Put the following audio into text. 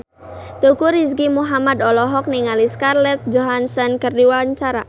Teuku Rizky Muhammad olohok ningali Scarlett Johansson keur diwawancara